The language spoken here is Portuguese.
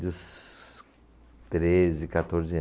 Dos treze, quatorze